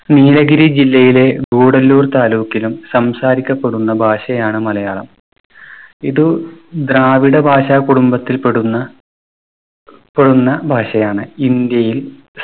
നീലഗിരി ജില്ലയിലെ ഗൂഡല്ലൂർ taluk ലും സംസാരിക്കപ്പെടുന്ന ഭാഷയാണ് മലയാളം. ഇത് ദ്രാവിഡ ഭാഷ കുടുംബത്തിൽപ്പെടുന്ന പെടുന്ന ഭാഷയാണ്. ഇന്ത്യയിൽ